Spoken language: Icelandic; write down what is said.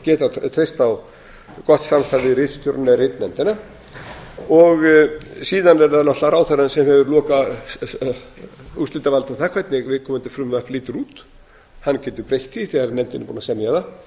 geta treyst á gott samstarf við ritstjórann eða ritnefndina síðan er það náttúrlega ráðherrann sem hefur lokaúrslitavald um það hvernig viðkomandi frumvarp lítur út hann getur breytt því þegar nefndin er búin að